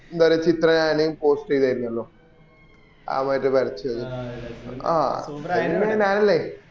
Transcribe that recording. വേറെ ചിത്ര ഞാന് post ചെയ്തർന്നല്ലോ ആ മറ്റേ വരച്ചത് ആ അത് പിന്നെ ഞാനല്ലേ